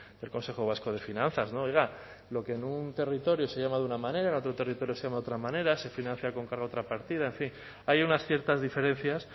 del consejo vasco de finanzas no oiga lo que en un territorio se llama de una manera en otro territorio se llama de otra manera se financia con cargo a otra partida en fin hay unas ciertas diferencias